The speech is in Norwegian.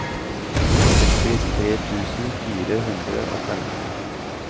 sekstitre tusen fire hundre og femten